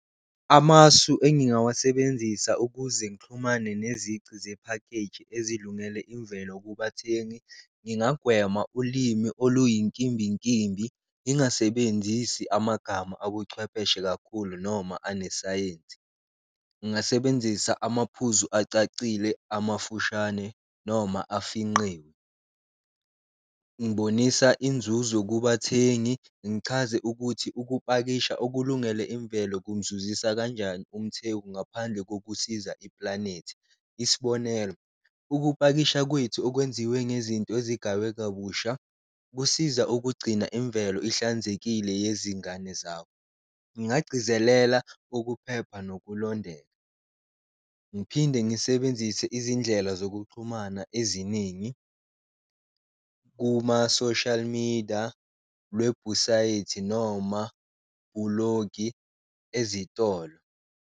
Amasu engingawasebenzisa ukuze ngixhumane nezici zephakeji ezilungele imvelo kubathengi, ngingagwema ulimi oluyinkimbinkimbi, ngingasebenzisi amagama abuchwepheshe kakhulu noma unesayensi. Ngingasebenzisa amaphuzu acacile amafushane noma afinqiwe, ngibonisa inzuzo kubathengi ngichaze ukuthi ukupakisha okulungele imvelo kumzuzisa kanjani umthengi ngaphandle kokusiza iplanethi. Isibonelo, ukupakisha kwethu okwenziwe nezinto ezigaywe kabusha kusiza ukugcina imvelo ihlanzekile yezingane zabo, ngingagcizelela ukuphepha nokulondeka, ngiphinde ngisebenzise izindlela zokuxhumana eziningi kuma-social media, lwebhusayithi, noma bhulogi ezitolo.